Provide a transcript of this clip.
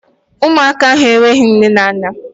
Ụmụaka ahụ enweghị nne na nna.